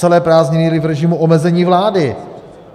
Celé prázdniny byli v režimu omezení vlády.